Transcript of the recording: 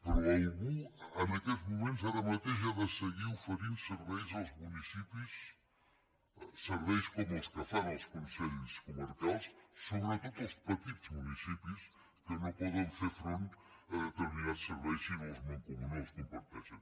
però algú en aquests moments ara mateix ha de seguir oferint serveis als municipis serveis com els que fan els consells comarcals sobretot als petits municipis que no poden fer front a determinats serveis si no els mancomunen o els comparteixen